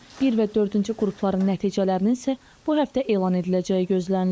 Bir və dördüncü qrupların nəticələrinin isə bu həftə elan ediləcəyi gözlənilir.